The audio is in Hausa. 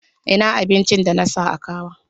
Ina abincin da na sa a kawon?